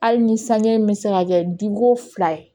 Hali ni sanji bɛ se ka kɛ diko fila ye